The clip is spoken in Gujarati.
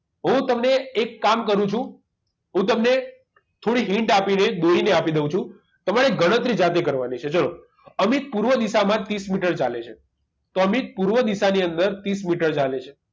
હું તમને એક કામ કરું છું હું તમને થોડીક hint આપી દઈશ બેયને આપી દઉં છું તમારે ગણતરી જાતે કરવાની છે ચલો અમિત પૂર્વ દિશામાં ત્રીસ મીટર ચાલે છે તો અમિત પૂર્વ દિશા ની અંદર ત્રીસ મીટર ચાલે છે